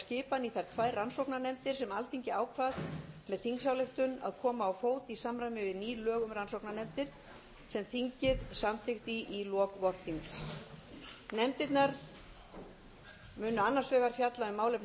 að gengið hefur verið frá skipan í þær tvær rannsóknarnefndir sem alþingi ákvað með þingsályktun að koma á fót í samræmi við ný lög um rannsóknarnefndir sem þingið samþykkt í lok vorþings nefndirnar munu annars vegar fjalla um málefni